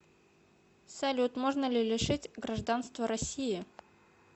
салют можно ли лишить гражданства россии